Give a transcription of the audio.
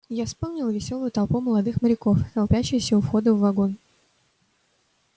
я вспомнил весёлую толпу молодых моряков толпящуюся у входа в вагон